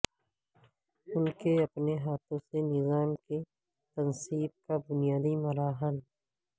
ان کے اپنے ہاتھوں سے نظام کی تنصیب کا بنیادی مراحل